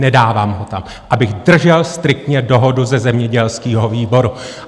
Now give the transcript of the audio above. Nedávám ho tam, abych držel striktně dohodu ze zemědělského výboru.